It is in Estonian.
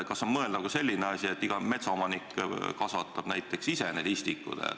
Kas on mõeldav ka selline asi, et iga metsaomanik kasvatab need istikud näiteks ise?